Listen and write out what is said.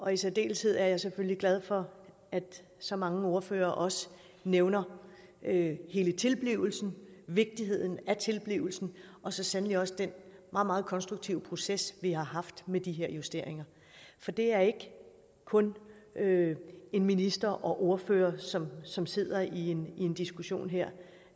i særdeleshed er jeg selvfølgelig glad for at så mange ordførere også nævner hele tilblivelsen vigtigheden af tilblivelsen og så sandelig også den meget meget konstruktive proces vi har haft med de her justeringer for det er ikke kun en minister og ordførere som som sidder i en en diskussion her